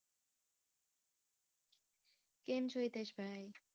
કેમ છો? હિતેશ ભાઈ.